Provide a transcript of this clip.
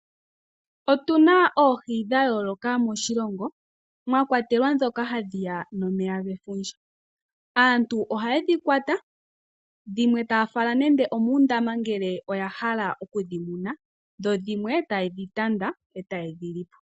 Otuna oohi dhayooloka moshilongo mwakwatelwa dhoka hadhiya nomeya gefundja, aantu ohaye dhi kwata dhimwe taafala nenge omuundama ngele oyahala okudhi muna dho dhimwe taye dhi tanda etaye dhi lipo.